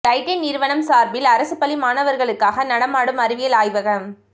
Titan நிறுவனம் சார்பில் அரசு பள்ளி மாணவர்களுக்காக நடமாடும் அறிவியல் ஆய்வகம்